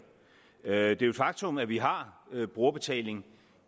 det er jo et faktum at vi har brugerbetaling